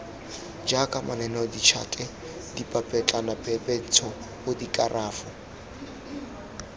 jaaka mananeo ditšhate dipapetlanapepentsho dikerafo